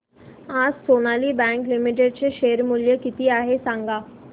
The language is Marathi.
आज सोनाली बँक लिमिटेड चे शेअर मूल्य किती आहे सांगा